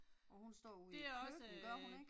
Og hun står ude i et køkken gør hun ikke?